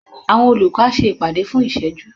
Àwọn olùkọ́ á ṣe ìpàdé fún ìṣẹ́jú